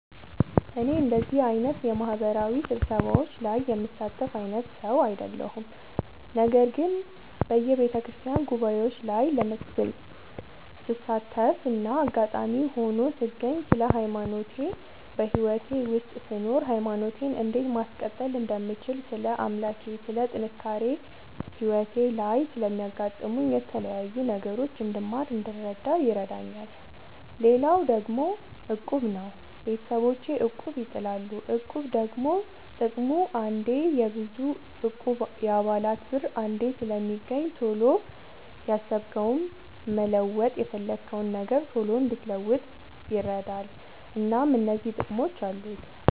እኔ እንደዚህ አይነት የማህበራዊ ስብሰባዎች ላይ የምሳተፍ አይነት ሰው አይደለሁም። ነገር ግን በየቤተክርስቲያን ጉባኤዎች ላይ ስሳተፍና አጋጣሚ ሆኖ ስገኝ ስለ ሃይማኖቴ በህይወቴ ውስጥ ስኖር ሃይማኖቴን እንዴት ማስቀጠል እንደምችል ስለ አምላኬ ስለ ጥንካሬ ህይወቴ ላይ ስለሚያጋጥሙኝ የተለያዩ ነገሮች እንድማር እንድረዳ ይረዳኛል። ሌላው ደግሞ እቁብ ነው። ቤተሰቦቼ እቁብ ይጥላሉ። እቁብ ደግሞ ጥቅሙ አንዴ የብዙ እቁብ የአባላት ብር አንዴ ስለሚገኝ ቶሎ ያሰብከውን መለወጥ የፈለግከውን ነገር ቶሎ እንድትለውጥ ይረዳል። እናም እነዚህ ጥቅሞች አሉት።